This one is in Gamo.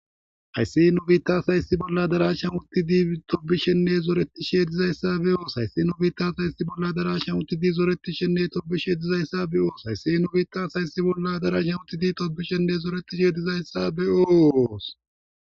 Hayssi nu biittas hayssi bolla darashan uttidi tobishenne zoreti she dizayssa be7oos hayssi nu biittas hayssi bolla darashan uttidi zoreti shenne tobishedizayssa be7oos hayssi nu biittas hayssi bolla darashan uttidi tobishenne zoretishe dizayssa be7oooos